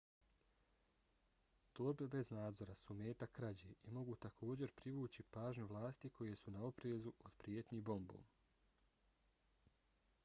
torbe bez nadzora su meta krađe i mogu također privući pažnju vlasti koje su na oprezu od prijetnji bombom